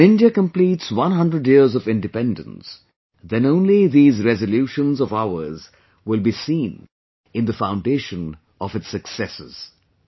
When India completes one hundred years of Independence, then only these resolutions of ours will be seen in the foundation of its successes